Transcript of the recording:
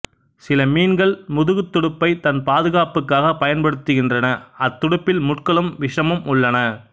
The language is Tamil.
சில மீன்கள் முதுகுத் துடுப்பை தன் பாதுகாப்புக்காக பயன்படுத்துகின்றன அத்துடுப்பில் முட்களும் விசமும் உள்ளன